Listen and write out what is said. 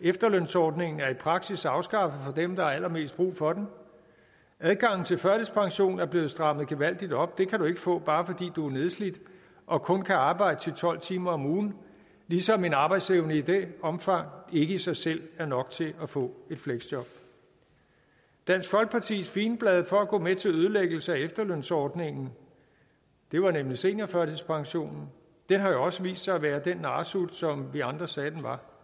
efterlønsordningen er i praksis afskaffet for dem der har allermest brug for den og adgangen til førtidspension er blevet strammet gevaldigt op den kan du ikke få bare fordi du er nedslidt og kun kan arbejde ti til tolv timer om ugen ligesom en arbejdsevne i det omfang ikke i sig selv er nok til at få et fleksjob dansk folkepartis figenblad for at gå med til en ødelæggelse af efterlønsordningen var nemlig seniorførtidspensionen den har jo også vist sig at være den narresut som vi andre sagde at den var